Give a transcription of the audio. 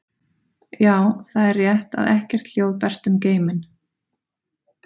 Já, það er rétt að ekkert hljóð berst um geiminn.